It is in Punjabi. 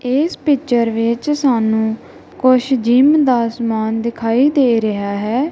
ਇਸ ਪਿਚਰ ਵਿੱਚ ਸਾਨੂੰ ਕੁਝ ਜਿਮ ਦਾ ਸਮਾਨ ਦਿਖਾਈ ਦੇ ਰਿਹਾ ਹੈ।